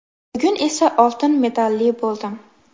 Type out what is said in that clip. Bugun esa oltin medalli bo‘ldim.